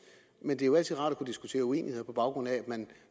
men det er jo altid rart at kunne diskutere uenigheder på baggrund af at man